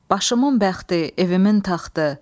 Başımın bəxti, evimin taxtı.